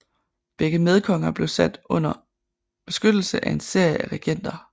Begge medkonger blev sat under beskyttelse af en serie af regenter